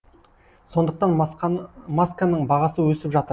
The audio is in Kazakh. сондықтан масканың бағасы өсіп жатыр